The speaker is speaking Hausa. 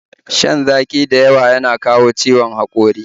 Shan zaƙi da yawa na kawo ciwon haƙori